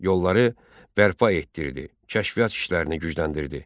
Yolları bərpa etdirdi, kəşfiyyat işlərini gücləndirdi.